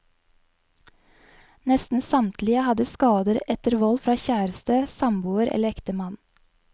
Nesten samtlige hadde skader etter vold fra kjæreste, samboer eller ektemann.